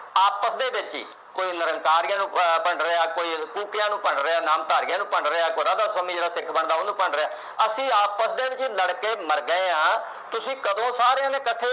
ਆਪਸ ਦੇ ਵਿਚ ਹੀ ਕੋਈ ਨਿਰੰਕਾਰੀਆਂ ਨੂੰ ਅਹ ਭੰਡ ਰਿਹਾ ਕੋਈ ਕੂਕਿਆਂ ਨੂੰ ਭੰਡ ਰਿਹਾ ਨਾਮਧਾਰੀਆਂ ਨੂੰ ਭੰਡ ਰਿਹਾ ਕੋਈ ਰਾਧਾ ਸੁਆਮੀ ਸਿੱਖ ਬੰਦਾ ਨੂੰ ਭੰਡ ਰਿਹਾ ਅਸੀਂ ਆਪਸ ਦੇ ਵਿਚ ਹੀ ਲੜ ਕੇ ਮਰ ਗਏ ਆ ਤੁਸੀਂ ਕਦੋਂ ਸਾਰਿਆਂ ਨੇ ਇਕੱਠੇ